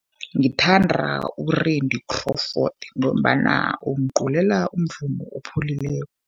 Ngithanda u-Randy Crawford, ngombana ungiculela umvumo opholileko.